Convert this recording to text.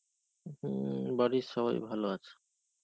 হম বাড়ির সবাই ভালো আছে.